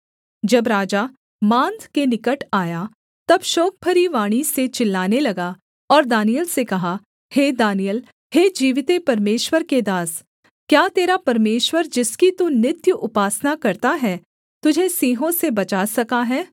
जब राजा माँद के निकट आया तब शोकभरी वाणी से चिल्लाने लगा और दानिय्येल से कहा हे दानिय्येल हे जीविते परमेश्वर के दास क्या तेरा परमेश्वर जिसकी तू नित्य उपासना करता है तुझे सिंहों से बचा सका है